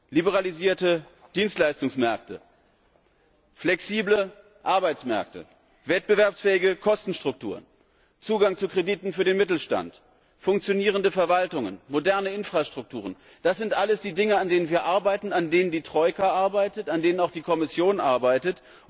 Liberalisierte Dienstleistungsmärkte, flexible Arbeitsmärkte, wettbewerbsfähige Kostenstrukturen, Zugang zu Krediten für den Mittelstand, funktionierende Verwaltungen, moderne Infrastrukturen, das sind alles die Dinge, an denen wir arbeiten, an denen die Troika arbeitet, an denen auch die Kommission arbeitet.